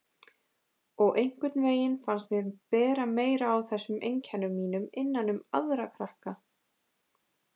Og einhvern veginn fannst mér bera meira á þessum einkennum mínum innan um aðra krakka.